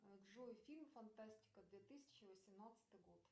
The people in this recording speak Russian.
джой фильм фантастика две тысячи восемнадцатый год